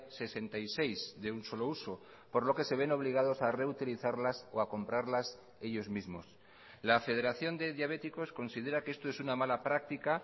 sesenta y seis de un solo uso por lo que se ven obligados a reutilizarlas o a comprarlas ellos mismos la federación de diabéticos considera que esto es una mala práctica